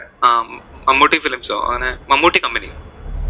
ആഹ് Mammootty films ഓ അങ്ങനെ Mammootty company യൊ